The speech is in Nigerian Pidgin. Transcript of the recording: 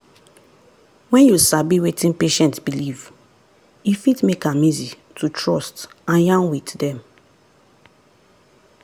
when you sabi wetin patient believe e fit make am easy to trust and yarn with them.